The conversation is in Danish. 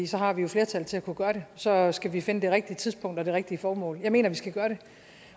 så har vi jo flertallet til at kunne gøre det så skal vi finde det rigtige tidspunkt og det rigtige formål jeg mener vi skal gøre det